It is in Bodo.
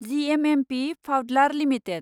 जिएमएमपि फाउडलार लिमिटेड